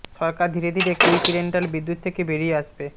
সরকার ধীরে ধীরে quick rental বিদ্যুৎ থেকে বেরিয়ে আসবে